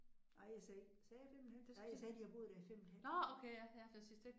Nej jeg sagde ikke sagde jeg 5 en halvt? Nej jeg sagde har boet der i 5 et halvt år